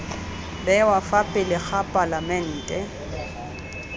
bewa fa pele ga palamente